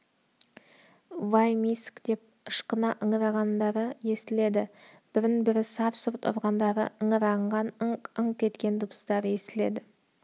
вай миск деп ышқына ыңыранғандары естіледі бірін-бірі сарт-сұрт ұрғандары ыңыранған ыңк-ыңқ еткен дыбыстары естіледі